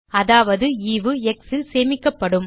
அதாவது ஈவு எக்ஸ் ல் சேமிக்கப்படும்